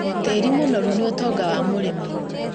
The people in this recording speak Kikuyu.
Tĩri mũnoru nĩ ũtonga wa mũrĩmi